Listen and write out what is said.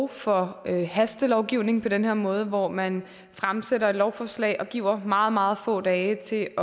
for hastelovgivning på den her måde hvor man fremsætter et lovforslag og giver meget meget få dage til